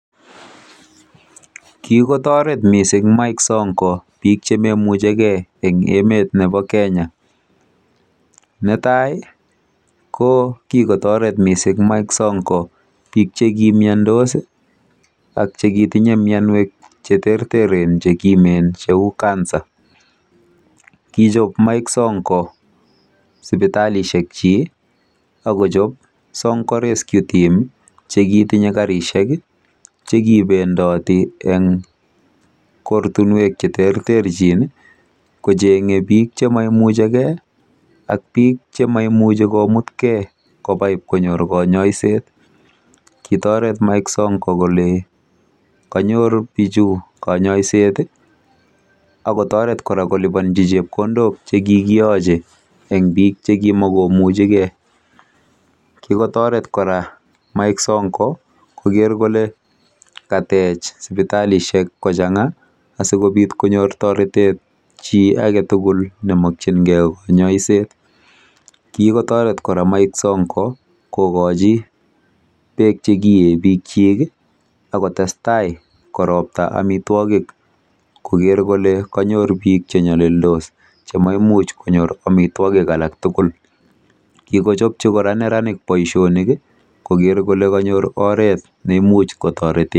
Kikotoret mising bik chemaimuchigei Mike Sonko Emet nebo Kenya. Netai ko kikotoret mising Mike Sonko biik chekimiandos Ak bik chekitinye mianwek cheterteren cheu CANCER. Kichop Mike Sonko sipitalishekyi akoal karishek chekibendoti eng kortinwek cheterterchin kocheng'e biik chememuchigei ak biik chememuchi komutkei sipitali.